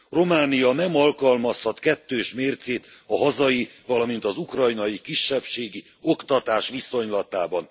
Románia nem alkalmazhat kettős mércét a hazai, valamint az ukrajnai kisebbségi oktatás viszonylatában!